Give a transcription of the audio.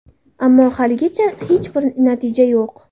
Ammo, haligacha hech bir natija yo‘q.